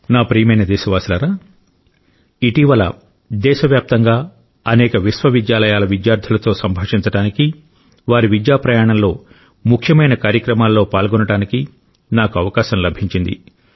నా ప్రియమైన దేశవాసులారా ఇటీవల దేశవ్యాప్తంగా అనేక విశ్వవిద్యాలయాల విద్యార్థులతో సంభాషించడానికి వారి విద్యా ప్రయాణంలో ముఖ్యమైన కార్యక్రమాల్లో పాల్గొనడానికి నాకు అవకాశం లభించింది